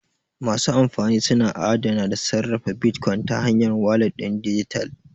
Masu amfani suna adana da sarrafa bitcoins ta hanyar walat ɗin dijital.